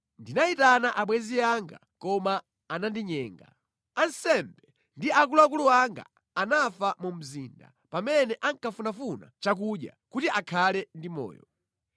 “Ndinayitana abwenzi anga koma anandinyenga. Ansembe ndi akuluakulu anga anafa mu mzinda pamene ankafunafuna chakudya kuti akhale ndi moyo.